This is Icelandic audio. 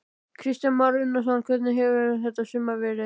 Kristján Már Unnarsson: Hvernig hefur þetta sumar verið?